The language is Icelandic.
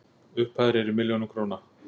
Upphæðir eru í milljónum króna.